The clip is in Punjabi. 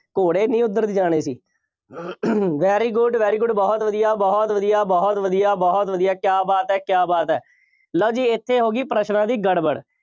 ਘੋੜੇ ਨਹੀਂ ਉੱਧਰ ਦੀ ਜਾਣੇ ਸੀ। very good, very good ਬਹੁਤ ਵਧੀਆ, ਬਹੁਤ ਵਧੀਆ, ਬਹੁਤ ਵਧੀਆ, ਬਹੁਤ ਵਧੀਆ, ਕਿਆ ਬਾਤ ਹੈ, ਕਿਆ ਬਾਤ ਹੈ, ਲਓ ਜੀ ਇੱਥੇ ਹੋ ਗਈ ਪ੍ਰਸ਼ਨਾਂ ਦੀ ਗੜਬੜ।